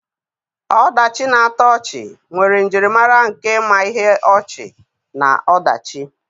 Ọdachi na-atọ ọchị nwere njirimara nke ma ihe ọchị na ọdachi.